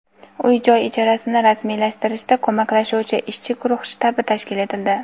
uy-joy ijarasini rasmiylashtirishda ko‘maklashuvchi ishchi guruh shtabi tashkil etildi.